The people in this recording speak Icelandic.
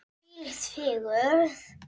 Þvílík fegurð!